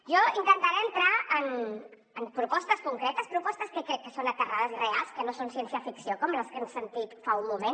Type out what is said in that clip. jo intentaré entrar en propostes concretes propostes que crec que són aterrades i reals que no són ciència ficció com les que hem sentit fa un moment